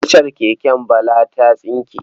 Kacar keken Bala ta tsinke.